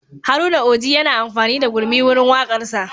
Haruna Oji yana amfani da gurmi wurin waƙarsa